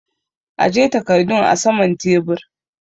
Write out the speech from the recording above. Aje takardun a saman tebur!